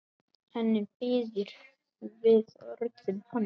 Henni býður við orðum hans.